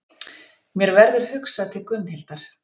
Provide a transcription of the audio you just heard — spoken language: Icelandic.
Mér verður hugsað til Gunnhildar.